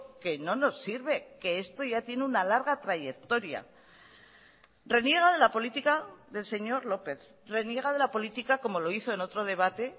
que no nos sirve que esto ya tiene una larga trayectoria reniega de la política del señor lópez reniega de la política como lo hizo en otro debate